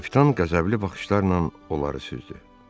Kapitan qəzəbli baxışlarla onları süzdü.